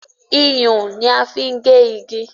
Iyùn ni a fi n gé igi